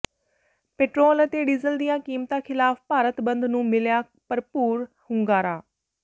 petrol ਅਤੇ diesel ਦੀਆਂ ਕੀਮਤਾਂ ਖਿਲਾਫ ਭਾਰਤ ਬੰਦ ਨੂੰ ਮਿਲਿਆ ਭਰਪੂਰ ਹੁੰਗਾਰਾ